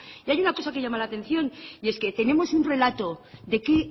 y hay una cosa que llama la atención y es que tenemos un relato de que